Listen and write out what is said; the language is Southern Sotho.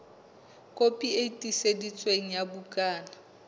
kopi e tiiseditsweng ya bukana